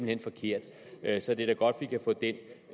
hen forkert så det er da godt vi kan få den